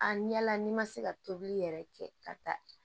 A ɲɛ la n'i ma se ka tobili yɛrɛ kɛ ka taa